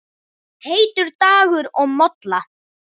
Heitur dagur og molla.